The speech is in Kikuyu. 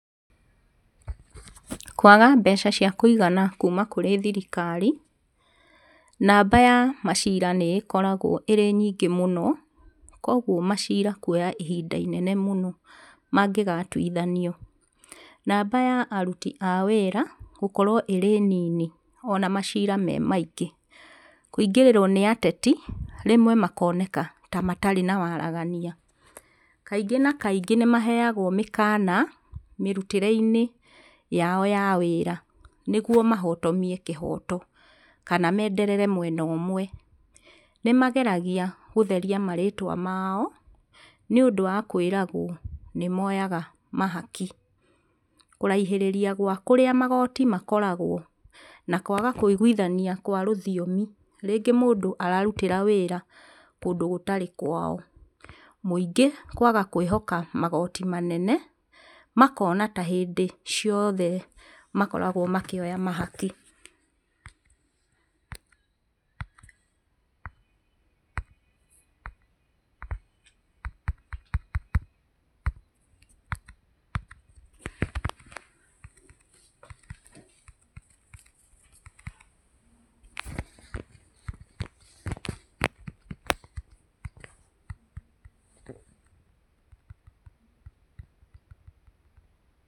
Kwaga mbbeca cia kũigana kũma kũrĩ thirikari, namba ya maciira nĩĩkoragwo ĩrĩ nyingĩ mũno, koguo macira kũoya ihinda inene mũno mangĩgatũithanio. Namba ya arũti a wĩra gũkorwo ĩrĩ nini ona macira me maingĩ. Kũingĩrĩrwo nĩ ateti, rĩmwe makoneka ta matarĩ na waragania. Kaingĩ na kaingĩ nĩmaheagwo mĩkana mĩrũtĩre-inĩ yao ya wĩra nĩguo mahotomie kĩhoto, kana menderere mwena ũmwe. Nĩmageragia gũtheria marĩtwa mao, nĩũndũ wa kwĩragwo nĩmoyaga mahaki. Kũraihĩrĩria gwa kũrĩa magoti makoragwo, na kwaga kũigũithania kwa rũthiomi, rĩngĩ mũndũ ararũtĩra wĩra kũndũ gũtarĩ kwao, mũingĩ kwaga kwĩhoka magoti manene makona ta hĩndĩ ciothe makoragwo makĩoya mahaki pause.